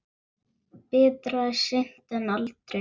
Betra er seint en aldrei!